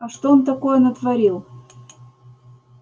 а что он такое натворил